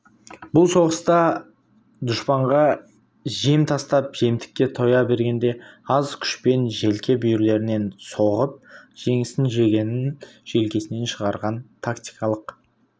бұл соғыста дұшпанға жем тастап жемтікке тоя бергенде аз күшпен желке бүйірлерінен соғып жеңісін жегенін желкесінен шығарған тактикалық